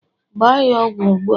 gbaa ya ọgwụ ugbu a!